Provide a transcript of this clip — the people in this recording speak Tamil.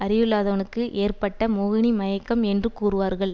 அறிவில்லாதவனுக்கு ஏற்பட்ட மோகினி மயக்கம் என்று கூறுவார்கள்